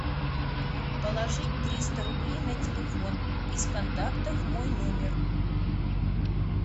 положить триста рублей на телефон из контактов мой номер